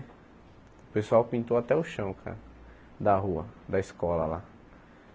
O pessoal pintou até o chão, cara, da rua, da escola lá.